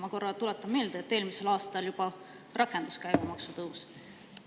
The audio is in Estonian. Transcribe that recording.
Ma korra tuletan meelde, et eelmisel aastal juba rakendus käibemaksu tõus.